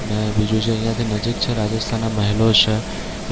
અને બીજું જે અહિયાંથી નજીક છે રાજસ્થાનના મહેલો છે